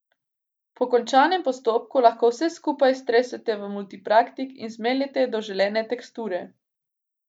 Po končanem postopku lahko vse skupaj stresete v multipraktik in zmeljete do želene teksture.